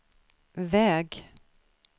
väg